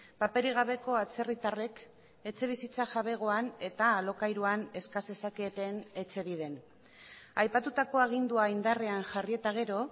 paperik gabeko atzerritarrek etxebizitza jabegoan eta alokairuan eska zezaketen etxebiden aipatutako agindua indarrean jarri eta gero